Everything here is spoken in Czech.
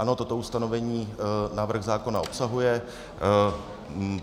Ano, toto ustanovení návrh zákona obsahuje.